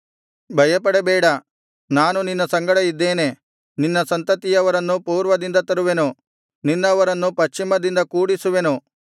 ಭಯಪಡಬೇಡ ನಾನು ನಿನ್ನ ಸಂಗಡ ಇದ್ದೇನೆ ನಿನ್ನ ಸಂತತಿಯವರನ್ನು ಪೂರ್ವದಿಂದ ತರುವೆನು ನಿನ್ನವರನ್ನು ಪಶ್ಚಿಮದಿಂದ ಕೂಡಿಸುವೆನು